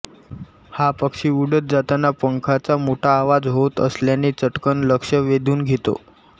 हा पक्षी उडत जातांना पंखांचा मोठा आवाज होत असल्याने चटकन लक्ष वेधून घेतो